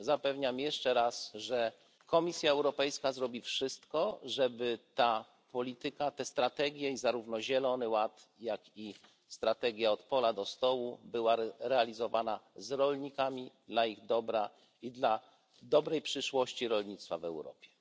Zapewniam jeszcze raz, że Komisja Europejska zrobi wszystko, żeby ta polityka, te strategie, i zarówno Zielony Ład, jak i strategia od pola do stołu, były realizowane z rolnikami, dla ich dobra i dla dobrej przyszłości rolnictwa w Europie.